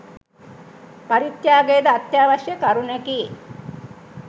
පරිත්‍යාගයද අත්‍යවශ්‍ය කරුණකි.